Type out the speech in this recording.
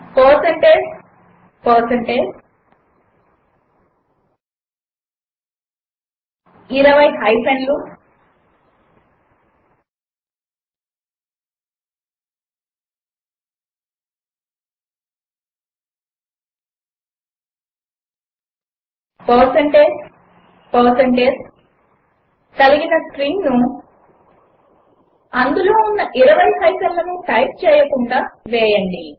160 20 హైఫెన్లు కలిగిన స్ట్రింగ్ను అందులో ఉన్న ఇరవై హైఫెన్లను టైప్ చేయకుండా వేయండి